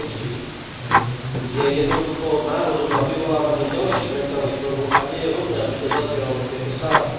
liečby je jednoducho návodom na vyvolávanie ďalších mentálnych chorôb a nie je vhodné, aby to zaznievalo v tejto sále.